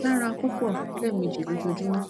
dara pupọ lẹmeji lojoojumọ